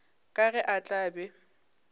ka ge a tla be